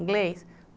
Inglês?